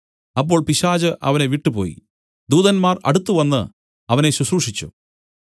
അപ്പോൾ പിശാച് അവനെ വിട്ടുപോയി ദൂതന്മാർ അടുത്തുവന്ന് അവനെ ശുശ്രൂഷിച്ചു